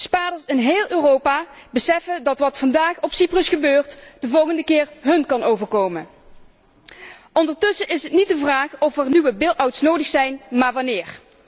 Spaarders in heel Europa beseffen dat wat vandaag op Cyprus gebeurt de volgende keer hun kan overkomen. Ondertussen is het niet de vraag of er nieuwe bail outs nodig zijn, maar wanneer.